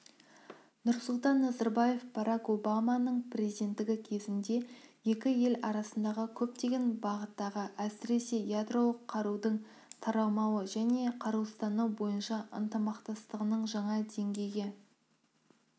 нұрсұлтан назарбаев барак обаманың президенттігі кезінде екі ел арасындағы көптеген бағыттағы әсіресе ядролық қарудың таралмауы және қарусыздану бойынша ынтымақтастығының жаңа деңгейге